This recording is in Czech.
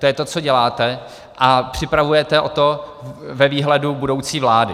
To je to, co děláte, a připravujete o to ve výhledu budoucí vlády.